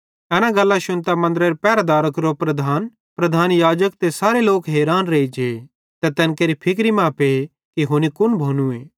एना गल्लां शुन्तां मन्दरेरे पहरेदारां केरो प्रधान प्रधान याजक ते सारे लोक हैरान रेइजे ते तैन केरि फिक्री मां पे कि हुनी कुन भोनूए